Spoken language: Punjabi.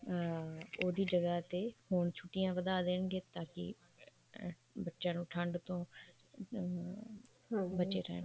ਅਮ ਉਹਦੀ ਜਗ੍ਹਾ ਤੇ ਹੋਰ ਛੁੱਟੀਆਂ ਵਧਾ ਦੇਣਗੇ ਤਾਂ ਕਿ ਬੱਚਿਆਂ ਨੂੰ ਠੰਡ ਤੋਂ ਅਮ ਬਚੇ ਰਹਿਣ